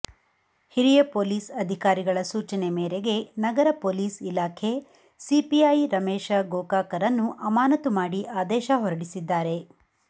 ಹಿರಿಯ ಪೊಲೀಸ್ ಅಧಿಕಾರಿಗಳ ಸೂಚನೆ ಮೇರೆಗೆ ನಗರ ಪೊಲೀಸ್ ಇಲಾಖೆ ಸಿಪಿಐ ರಮೇಶ ಗೋಕಾಕರನ್ನು ಅಮಾನತು ಮಾಡಿ ಆದೇಶ ಹೋರಡಿಸಿದ್ದಾರೆ